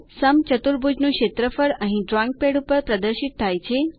સમચતુર્ભુજનું ક્ષેત્રફળ અહીં drawing pad ઉપર પ્રદર્શિત થાય છે